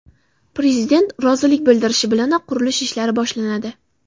Prezident rozilik bildirishi bilanoq qurilish ishlari boshlanadi.